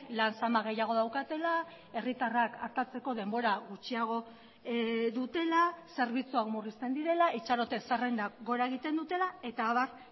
lan zama gehiago daukatela herritarrak artatzeko denbora gutxiago dutela zerbitzuak murrizten direla itxarote zerrendak gora egiten dutela eta abar